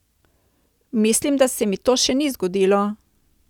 Mislim, da se mi to še ni zgodilo.